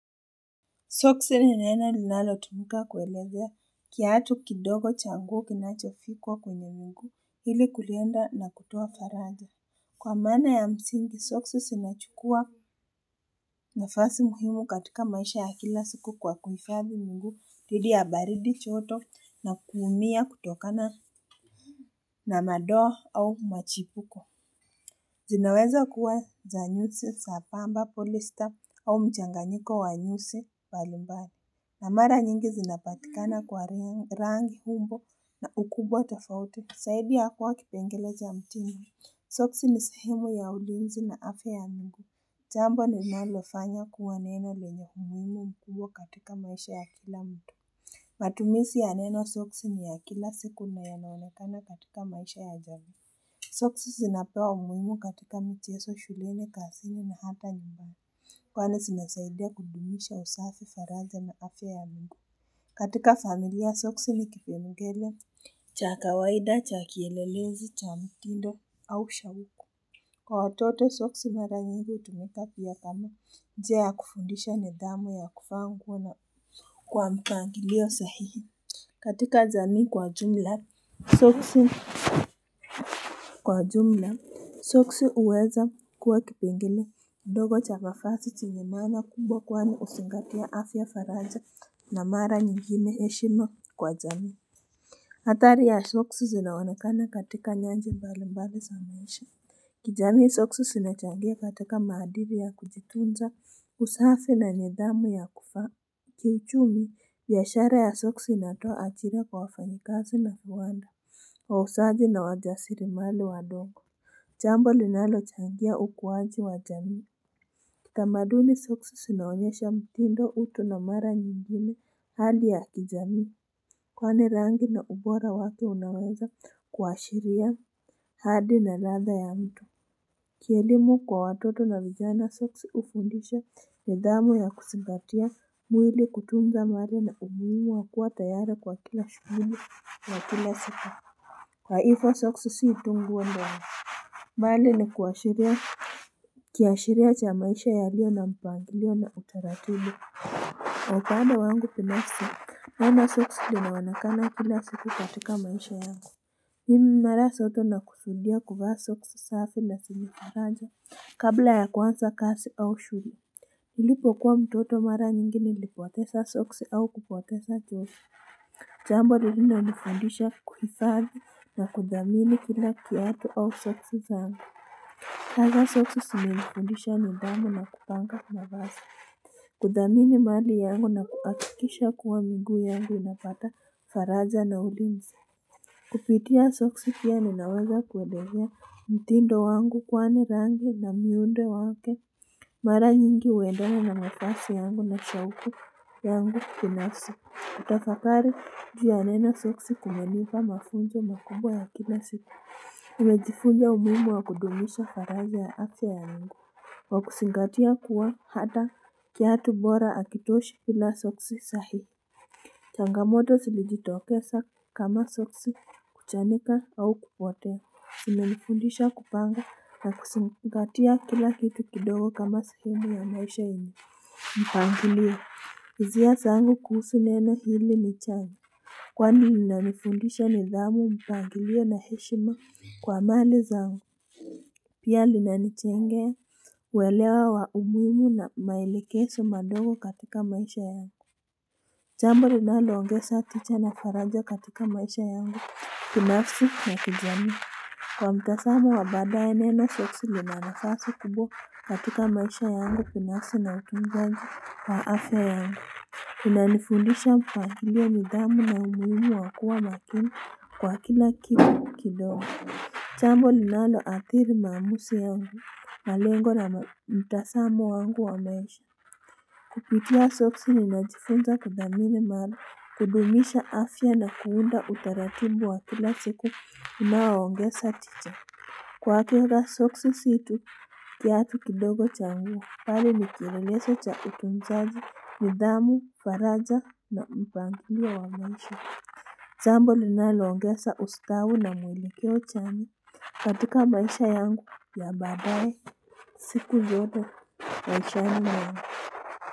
Soksi ni neno linalo tumika kuelezea kiatu kidogo cha nguo kinachofikwa kwenye mguu ili kulinda na kutoa faraja. Kwa maana ya msingi Soksi zinachukua nafasi muhimu katika maisha ya kila siku kwa kuhifadhi miguu dhidi ya baridi joto na kuumia kutokana na madoa au machipuko. Zinaweza kuwa za nyusi za pamba polista au mchanganyiko wanyusi mbalimbali. Na mara nyingi zinapatikana kwa rangi umbo na ukubwa tofauti kusaidia kuwa kipengele cha mtingu. Soksi ni sehemu ya ulinzi na afya ya miguu. Jambo ninalofanya kuwa neno lenye umuhimu mkubwa katika maisha ya kila mtu. Matumizi ya neno soksi ni ya kila siku na yanaonekana katika maisha ya jamii Soksi zinapewa umuhimu katika michezo shuleni kazini na hata nyumbani. Kwanza zinasaidia kudumisha usafi faraja na afya ya miguu katika familia soksi ni kipengele cha kawaida cha kielelezi cha mtindo au shauku Kwa watoto soksi mara nyinyi hutumika pia kama njia ya kufundisha nidhamu ya kuvaa nguo na kwa mpangilio sahihi katika jamii kwa jumla Soksi kwa jumla Soksi huweza kuwa kipengle kidogo cha nafasi chenye maana kubwa kwani huzingatia afya faraja na mara nyingine heshima kwa jamii hatari ya Soksi zinaonekana katika njia mbali mbali za maisha kijamii Soksi zinachangia katika maadiri ya kujitunza usafi na nidhamu ya kuvaa Kiuchumi biashara ya Soksi inatoa ajira kwa wafanyikazi na viwanda wauzaji na wajasiri mali wadogo Jambo ambalo linalochangia ukuwaji wa jamii Kitamaduni Soksi zinawonyesha mtindo utu na mara nyingine hali ya kijamii Kwani rangi na ubora wake unaweza kuashiria hali na ladha ya mtu Kielimu kwa watoto na vijana Soksi hufundisha nidhamu ya kuzingatia mwili kutunza mali na umuhimu wakuwa tayari kwa kila shughuli ya kila siku Kwa hivyo soksi si tu nguo ndio mbali ni kuashiria Kiashiria cha maisha yaliyo na mpangilio na utaratibu Kwa upande wangu binasi neno soksi linaonekana kila siku katika maisha yangu mimi mara zote nakusudia kuvaa soksi safi na zenye faraja kabla ya kuanza kazi au shule Nilipo kuwa mtoto mara nyingi nilipoteza soksi au kupotesa kiosu Jambo linani nifundisha kuhifadhi na kudhamini kila kiatu au soksi zangu. Hasa soksi zimenifundisha nidhamu na kupanga kuna mavazi. Kudhamini mali yangu na kuhakikisha kuwa miguu yangu inapata faraja na ulinzi. Kupitia soksi pia ninaweza kuelezea mtindo wangu kwani rangi na miundo wake. Mara nyingi huedana na mavazi yangu na shauku yangu kinafsi. Utafakari juu ya neno soksi kumenipa mafunzo makubwa ya kila siku Nimejifunza umuhimu wa kudumisha faraja ya afya ya miguu kwa kuzingatia kuwa hata kiatu bora hakitoshi bila soksi sahi changamoto zilijitokeza kama soksi kuchanika au kupotea zimenifundisha kupanga na kuzingatia kila kitu kidogo kama sehemu ya maisha yenye mpangilio hisia zangu kuhusu neno hili ni changu Kwani linanifundisha nidhamu mpangilio na heshima kwa mali zangu Pia linanijengea kuelewa wa umuhimu na maelekezo madogo katika maisha yangu Jambo linaloongea saticha na faraja katika maisha yangu binafsi na kijamii Kwa mtazamo wa baadaye neno soksi lina nafasi kubwa katika maisha yangu binafsi na utunzaji wa afya yangu Tuna nifundisha pahali ya nidhamu na umuhimu wakuwa makini kwa kila kitu kidogo Jambo linalo adhiri maumuzi yangu malengo na mtazamo wangu wa maisha Kupitia soksi ninajifunza kudhamini mali kudumisha afya na kuunda utaratibu wa kila siku unawaongeza tich Kwa kila soksi zetu kiatu kidogo cha nguo mbali nikielelezo cha utunzaji, nidhamu, faraja na mpangilio wa maisha. Jambo linalongeza ustawi na mwelekeo cha ni katika maisha yangu ya baadaye siku zote maishani mwangu.